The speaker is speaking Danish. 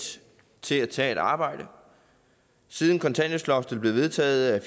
til at tage et arbejde siden kontanthjælpsloftet blev vedtaget er